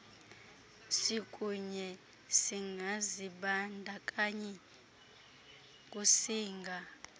sikunye singazibandakanyi kusinga